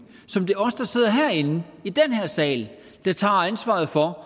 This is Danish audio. som det er os der sidder herinde i den her sal der tager ansvaret for